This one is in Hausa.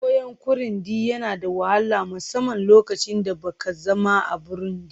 koyon Kirundi yana da wahala, musamman lokacin da ba ka zama a Burundi